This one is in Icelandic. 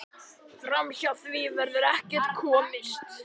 Framhjá því verður ekkert komist.